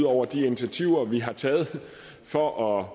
over de initiativer vi har taget for at